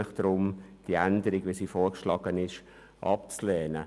Ich bitte Sie deshalb, die beantragte Änderung abzulehnen.